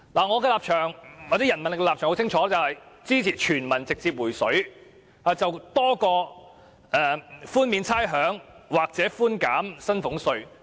我和人民力量的立場很清晰，就是支持全民直接"回水"多於支持寬免差餉或寬減薪俸稅。